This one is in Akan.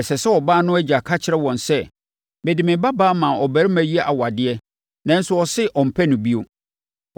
Ɛsɛ sɛ ɔbaa no agya ka kyerɛ wɔn sɛ, “Mede me babaa maa ɔbarima yi awadeɛ nanso ɔse ɔmpɛ no bio.